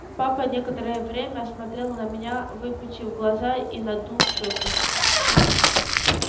папа некоторое время смотрел на меня выпучив глаза и надув щёки